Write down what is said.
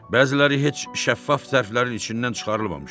Bəziləri heç şəffaf zərflərin içindən çıxarılmamışdı.